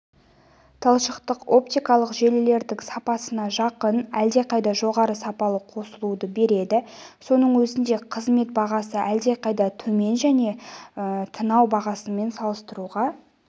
талшықтық-оптикалық желілердің сапасына жақын әлде қайда жоғары сапалы қосылуды береді соның өзінде қызмет бағасы әлде қайда төмен және тынау бағасымен салыстыруға